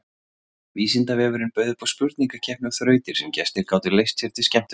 Vísindavefurinn bauð upp á spurningakeppni og þrautir sem gestir gátu leyst sér til skemmtunar.